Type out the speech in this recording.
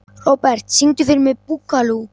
Robert, syngdu fyrir mig „Búkalú“.